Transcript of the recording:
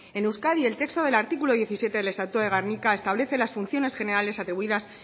en euskadi el texto del artículo diecisiete del estatuto de gernika establece las funciones generales atribuidas